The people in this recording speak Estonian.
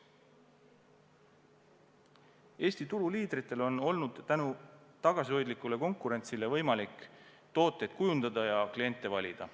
Eesti turuliidritel on olnud tänu tagasihoidlikule konkurentsile võimalik tooteid kujundada ja kliente valida.